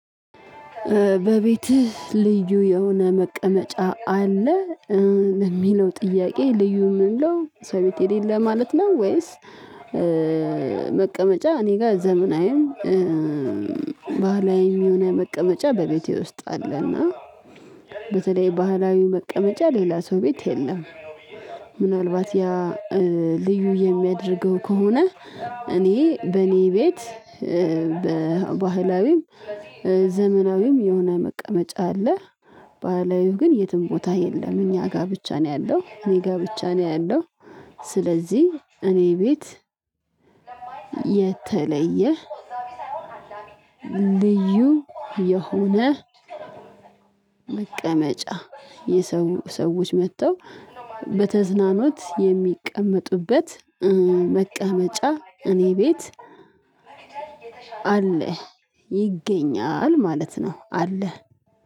በቤትህ ልዩ የሆነ መቀመጫ አለ ለሚለው ጥያቄ ልዩ ምንለው ሰው ቤት የሌለ ማለት ነው። ወይስ? መቀመጫ እኔ ጋር ዘመናዊም ባህላዊም የሆነ መቀመጫ በቤቴ ውስጥ አለና በተለይ ባህላዊ መቀመጫ ሌላ ሰው ቤት የለም። ምናልባት ያ ልዩ የሚያደርገው ከሆነ እኔ በእኔ ቤት በባህላዊም ዘመናዊም የሆነ መቀመጫ አለ። ባህላዊው ግን የትም ቦታ የለም እኛ ጋ ብቻ ነው ያለው እኔ ጋ ብቻ ነው ያለው። ስለዚህ እኔ ቤት የተለየ ልዩ የሆነ መቀመጫ የሰው ሰዎች መጥተው በተዝናኖት የሚቀመጡበት መቀመጫ እኔ ቤት አለ ይገኛል ማለት ነው። አለ